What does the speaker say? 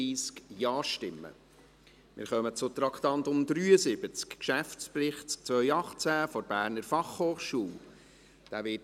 Wir kommen zum Traktandum 73, Geschäftsbericht 2018 der Berner Fachhochschule (BFH).